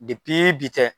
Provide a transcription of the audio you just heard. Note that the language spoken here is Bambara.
bi tɛ